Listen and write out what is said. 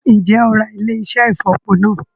Ǹjẹ́ o óò Ra ilé-iṣẹ́ ìfọ̀po náà?